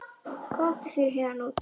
Komdu þér héðan út.